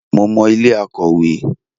Mo mọ ilé Akòwé.